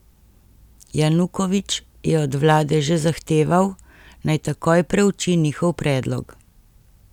Janukovič je od vlade že zahteval, naj takoj preuči njihov predlog.